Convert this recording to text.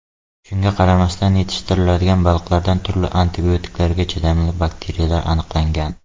Shunga qaramasdan, yetishtiriladigan baliqlarda turli antibiotiklarga chidamli bakteriyalar aniqlangan.